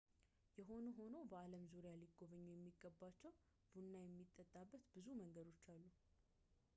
የሆነ ሆኖ በዓለም ዙሪያ ሊጎበኙ የሚገባቸው ቡና የሚጠጣበት ብዙ መንገዶች አሉ